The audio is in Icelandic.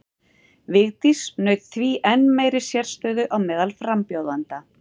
Vigdís naut því enn meiri sérstöðu á meðal frambjóðenda.